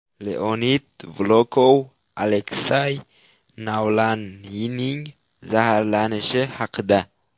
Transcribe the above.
Leonid Volkov Aleksay Navalniyning zaharlanishi haqida.